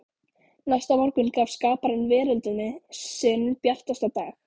Næsta morgun gaf skaparinn veröldinni sinn bjartasta dag.